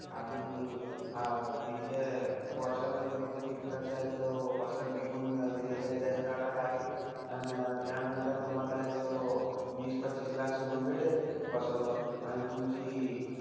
आणि अं वर्षाला तुम्ही तो कित्ताचाय अं तो पिकवून देलेलंय त्याचा data लागेल. आन त्यानंतर तुम्हाला तो, वीस-पच्चीस लाखचं loan भेटेल वर.